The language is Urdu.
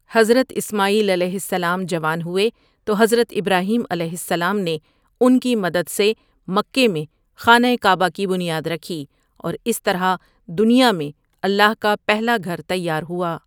حضرت اسماعیل علیہ السلام جوان ہوئے تو حضرت ابراہیم علیہ السلام نے ان کی مدد سے مکے میں خانہ کعبہ کی بنیاد رکھی اور اس طرح دنیا میں اللہ کا پہلا گھر تیار ہوا ۔